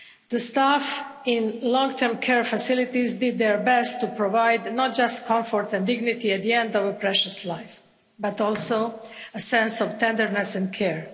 The staff in long-term care facilities did their best to provide not just comfort and dignity at the end of a precious life, but also a sense of tenderness and care.